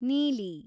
ನೀಲಿ